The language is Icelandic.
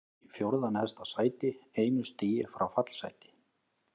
Í fjórða neðsta sæti, einu stigi frá fallsæti.